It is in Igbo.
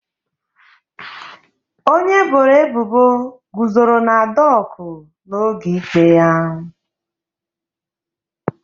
Onye eboro ebubo guzoro na doku n'oge ikpe.